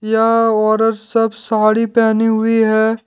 यह औरत सब साड़ी पहनी हुई हैं।